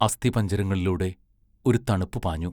അസ്ഥിപഞ്ജരങ്ങളിലൂടെ ഒരു തണുപ്പു പാഞ്ഞു.